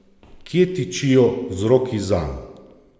Kje tičijo vzroki zanj?